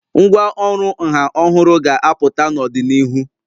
Ngwá ọrụ nha ọhụrụ ga-apụta n'ọdịnihu.